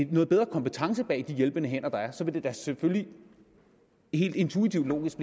bedre kompetence bag de hjælpende hænder der er så vil det da selvfølgelig helt intuitivt logisk